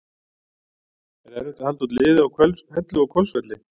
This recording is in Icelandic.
Er erfitt að halda út liði á Hellu og Hvolsvelli?